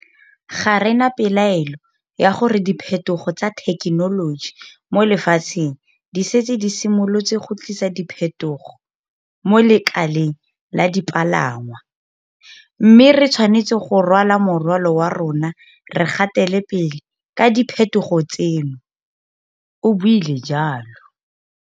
Ga re na pelaelo ya gore diphetogo tsa thekenoloji mo lefatsheng di setse di simolotse go tlisa diphetogo mo lekaleng la dipalangwa, mme re tshwanetse go rwala morwalo wa rona re gatele pele ka diphetogo tseno, o buile jalo.